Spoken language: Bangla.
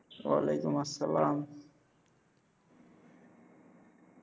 ওয়ালাইকুম আসসালাম।